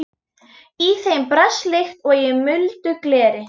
Í þeim brast líkt og í muldu gleri.